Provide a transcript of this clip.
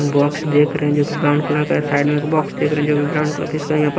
box देख रहे हैं जो कि ब्राउन कलर का है साइड में एक बॉक्स देख रहे हैं जो भी ब्राउन कलर का है इसका यहाँ पर--